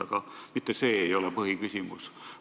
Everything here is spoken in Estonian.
Aga mitte see ei ole põhiküsimus.